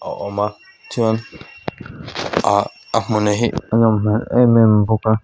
a awm a chuan aa ahmun hi a nawm hmel em em bawk a.